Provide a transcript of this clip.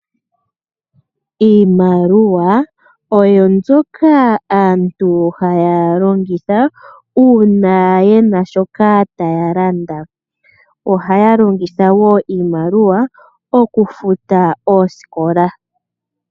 Iimaliwa oyo mbyoka aantu haya longitha uuna yena shoka taya landa. Ohaya longitha woo iimaliwa okufuta oosikola.